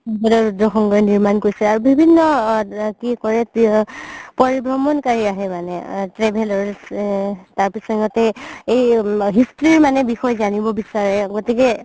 স্বৰ্গদেও ৰুদ্ৰ সিংহই নিৰ্মাণ কৰিছে আৰু বিভিন্ন কি কয় পৰিভ্ৰমণকাৰি আহে মানে আ travelers এ তাৰ পিছত সিহতি এই history বিষয়ে জানিব বিচাৰে গতিকে